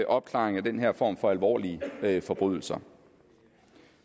opklaring af den her form for alvorlige forbrydelser